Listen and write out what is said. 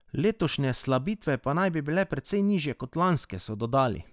Letošnje slabitve pa naj bi bile precej nižje kot lanske, so dodali.